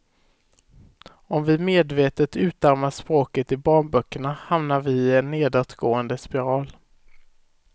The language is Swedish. Om vi medvetet utarmar språket i barnböckerna hamnar vi i en nedåtgående spiral.